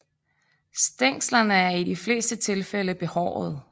Stænglerne er i de fleste tilfælde behårede